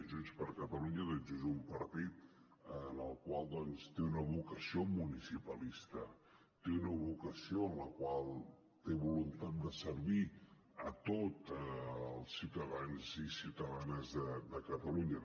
junts per catalunya és un partit que té una vocació municipalista té una vocació en la qual té voluntat de servir a tots els ciutadans i ciutadanes de catalunya